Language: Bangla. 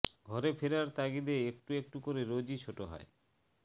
ঘরে ফেরার তাগিদে একটু একটু করে রোজই ছোট হয়